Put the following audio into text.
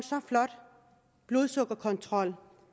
blodsukkerkontrol